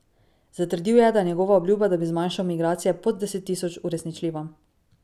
Zatrdil je, da je njegova obljuba, da bi zmanjšal migracije pod deset tisoč, uresničljiva.